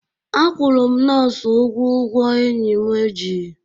Akwụrụ m nọọsụ ụgwọ ụgwọ enyi m ji